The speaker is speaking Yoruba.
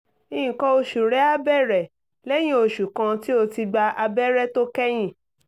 nǹkan oṣù rẹ á bẹ̀rẹ̀ lẹ́yìn oṣù kan tí o ti gba abẹ́rẹ́ tó kẹ́yìn